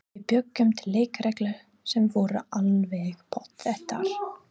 Við bjuggum til leikreglur sem voru alveg pottþéttar.